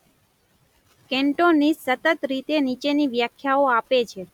Cantonese સતત રીતે નીચેની વ્યાખ્યાઓ આપે છે